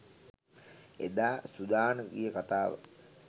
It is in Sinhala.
එදා සුඩාන ගිය කතාව